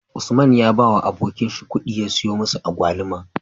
Usman ya bawa abokin shi kudi ya siyo musu agwaluma